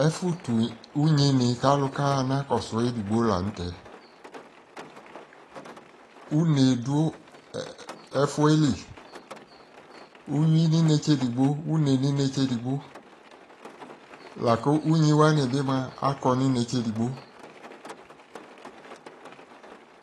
ɛfo to unyi ni ko alo ka ɣa na kɔso edigbo lantɛ une do ɛfoɛ li uwi no inetse edigbo une no inetse edigbo la ko unyi wani bi moa akɔ no inetse edigbo